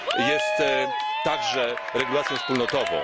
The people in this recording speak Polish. jest także regulacją wspólnotową.